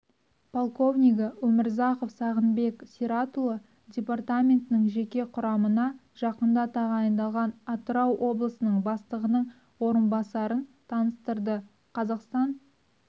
полковнигі өмірзахов сағынбек сиратұлы департаменттің жеке құрамына жақында тағайындалған атырау облысының бастығының орынбасарын таныстырды қазақстан